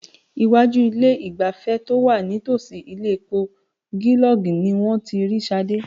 Iwájú ilé-ìgbafẹ́ to wà nítòsí ilé epo Gilog ni wọ́n ti rí Ṣadé.